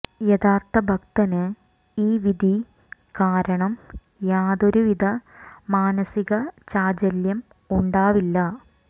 യഥാര്ത്ഥ ഭക്തന് ഈ വിധി കാരണം യാതൊരു വിധ മാനസിക ചാഞ്ചല്യം ഉണ്ടാവില്ല